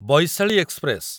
Vaishali express